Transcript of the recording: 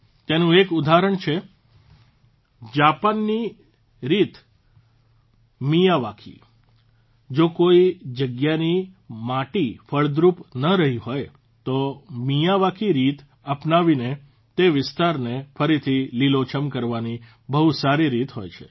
તેનું એક ઉદાહરણ છે જાપાનની રીત મિયાવાકી જો કોઇ જગ્યાની માટી ફળદ્રુપ ન રહી હોય તો મિયાવાકી રીત અપનાવીને તે વિસ્તારને ફરીથી લીલોછમ કરવાની બહુ સારી રીત હોય છે